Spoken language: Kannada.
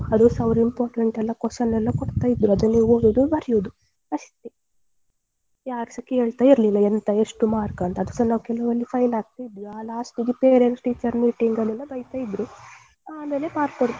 ಅದುಸಾ ಅವರು important ಎಲ್ಲ question ಎಲ್ಲ ಕೊಡ್ತಿದ್ರು ಅದನ್ನು ಓದುದು ಬರಿಯುದು ಅಷ್ಟೇ ಯಾರು ಸ ಕೇಳ್ತಾ ಇರ್ಲಿಲ್ಲ ಎಂತ ಎಷ್ಟು mark ಅಂತ ಅದುಸ ನಾವು ಕೆಲವೆಲ್ಲ fail ಆಗ್ತಿದ್ವಿ ಅ last ಅಲ್ಲಿ parent teachers meeting ಅಲ್ಲಿ ಎಲ್ಲ ಬೈತಾ ಇದ್ರೂ ಆಮೇಲೆ mark ಕೊಡ್ತಾ ಇದ್ರೂ.